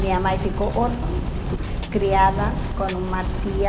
Minha mãe ficou órfã, criada com uma tia